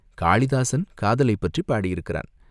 காளிதாஸன் காதலைப் பற்றிப் பாடியிருக்கிறான்.